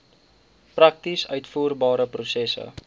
prakties uitvoerbare prosesse